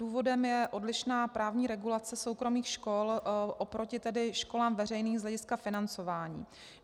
Důvodem je odlišná právní regulace soukromých škol oproti školám veřejným z hlediska financování.